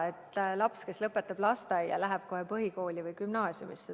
Laps, kes lõpetab lasteaia, ei lähe ju kohe põhikooli või gümnaasiumisse.